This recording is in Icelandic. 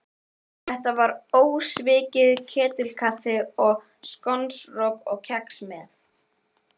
Þetta var ósvikið ketilkaffi og skonrok og kex með.